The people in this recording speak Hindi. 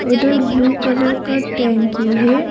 उधर ब्लू कलर का टंकी है।